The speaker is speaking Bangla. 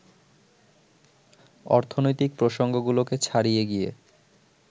অর্থনৈতিক প্রসঙ্গগুলোকে ছাড়িয়ে গিয়ে